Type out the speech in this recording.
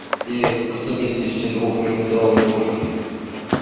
и сто пяти дести двух миллиметровой пушкой